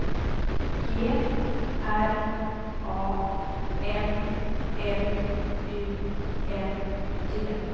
G R A N L U N D